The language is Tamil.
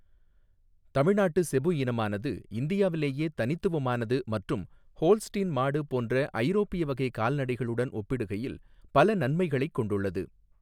தமிழ்நாட்டு ஸெபு இனமானது இந்தியாவிலேயே தனித்துவமானது மற்றும் ஹோல்ஸ்டீன் மாடு போன்ற ஐரோப்பிய வகை கால்நடைகளுடன் ஒப்பிடுகையில் பல நன்மைகளைக் கொண்டுள்ளது.